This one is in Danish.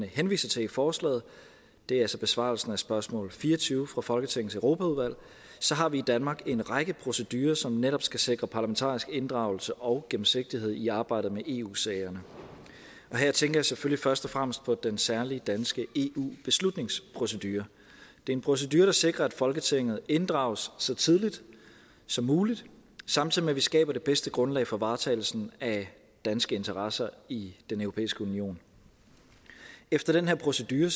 henviser til i forslaget det er altså besvarelsen af spørgsmål fire og tyve fra folketingets europaudvalg har vi i danmark en række procedurer som netop skal sikre parlamentarisk inddragelse og gennemsigtighed i arbejdet med eu sagerne her tænker jeg selvfølgelig først og fremmest på den særlige danske eu beslutningsprocedure det er en procedure der sikrer at folketinget inddrages så tidligt som muligt samtidig med at vi skaber det bedste grundlag for varetagelsen af danske interesser i den europæiske union efter den her procedure